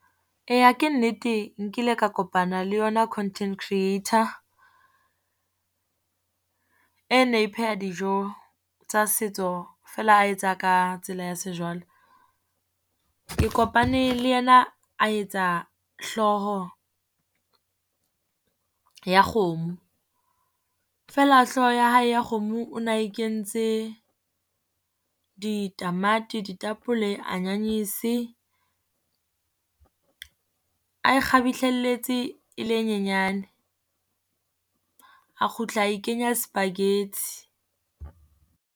Eya ke nnete nkile ka kopana le yona content creator, e ne pheha dijo tsa setso feela a etsa ka tsela ya sejwale. Ke kopane le ena a etsa hlooho ya kgomo, fela hlooho ya hae ya kgomo o na e kentse ditamati, ditapole, anyanyese. Ae kgabihlelletse e le e nyenyane, a kgutla ae kenya spaghetti.